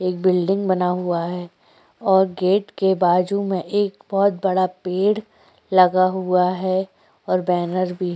एक बहुत बड़ा बिल्डिंग बना हुआ है और गेट के बाजू में एक बहुत बड़ा पेड़ लगा हुआ है और बैनर भी --